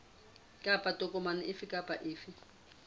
kapa tokomane efe kapa efe